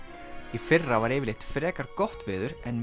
í fyrra var frekar gott veður en